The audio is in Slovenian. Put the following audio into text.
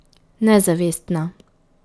Nezavestna.